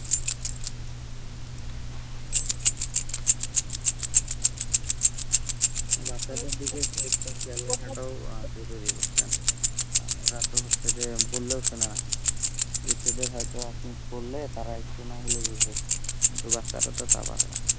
বাচ্চাদের দিকে extra খেয়াল রাখাটাও জরুরী বুঝছেন, আর ওরা তো হচ্ছে যে বললেও শোনে না, বৃদ্ধদের হয়তো আপনি বললে তারা একটু না হলেও বোঝে, কিন্তু বাচ্চারা তো তা পারে না,